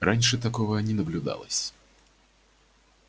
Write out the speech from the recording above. раньше такого не наблюдалось